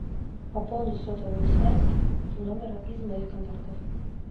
пополнить сотовую связь номера из моих контактов